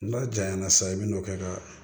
N'a janyana sa i bɛ n'o kɛ ka